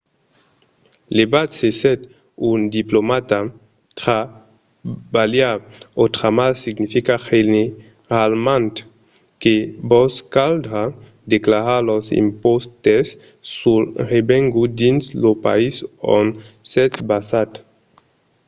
levat se sètz un diplomata trabalhar otramar significa generalament que vos caldrà declarar los impòstes sul revengut dins lo país ont sètz basat